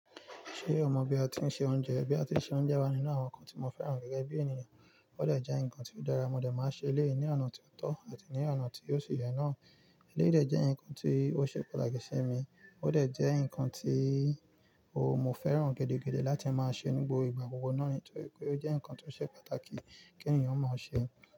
Ṣé o mọ̀ bí a ti ń se oúnjẹ? Bí a ti ń se oúnjẹ wà nínú àwọn nǹkan tí mo fẹ́ràn gẹ́gẹ́ bí ènìyàn. Ó dẹ̀ jẹ́ ǹkan tí ó dára, mo dẹ̀ máa ṣe ilé ní ọ̀nà tí ó tọ́ àti ní ọ̀nà tí ó ṣe yẹ náà. Eléyi dẹ̀ jẹ́ ǹkan tí ó ṣe pàtàkì sí mi, ó dẹ̀ jẹ́ ǹkan tí mo fẹ́ràn gẹ́dẹ́gẹ́dẹ́ láti máa ṣe ní gbogbo ìgbà gbogbo náà nítorí pé ó jẹ́ ǹkan tí ó ṣe pàtàkì kí ènìyàn mọ̀ ṣe.